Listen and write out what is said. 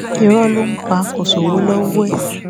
irọ ló ń pa kò sówó lọwọ ẹ